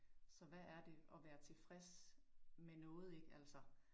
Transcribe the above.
Så hvad er det og være tilfreds med noget, ik altså